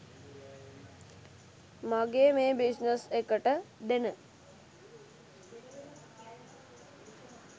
මගේ මේ බිස්නස් එකට දෙන